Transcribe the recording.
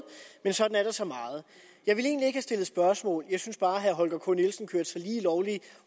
men sådan er der så meget jeg vil egentlig ikke stille spørgsmål jeg synes bare at herre holger k nielsen kørte sig lige lovlig